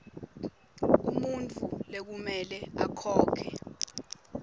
umuntfu lekumele akhokhe